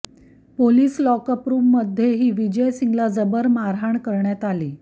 police lockup रुममध्येही विजय सिंगला जबर मारहाण करण्यात आली